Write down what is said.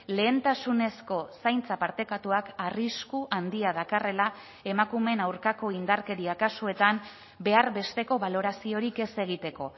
lehentasunezko zaintza partekatuak arrisku handia dakarrela emakumeen aurkako indarkeria kasuetan behar besteko baloraziorik ez egiteko